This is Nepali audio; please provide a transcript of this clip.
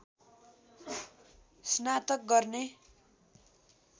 स्नातक गर्ने